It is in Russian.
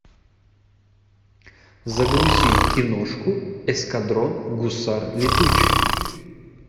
загрузи киношку эскадрон гусар летучих